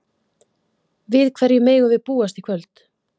Við hverju megum við búast í kvöld?